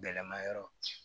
Gɛlɛma yɔrɔ